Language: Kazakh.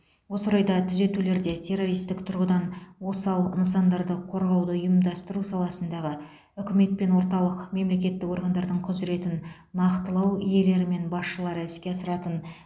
осы орайда түзетулерде террористік тұрғыдан осал нысандарды қорғауды ұйымдастыру саласындағы үкімет пен орталық мемлекеттік органдардың құзыретін нақтылау иелері мен басшылары іске асыратын